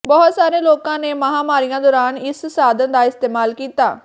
ਬਹੁਤ ਸਾਰੇ ਲੋਕਾਂ ਨੇ ਮਹਾਂਮਾਰੀਆਂ ਦੌਰਾਨ ਇਸ ਸਾਧਨ ਦਾ ਇਸਤੇਮਾਲ ਕੀਤਾ